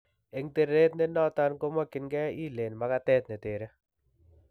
Eng teret nenoton kemokyinkee iilen makatet netere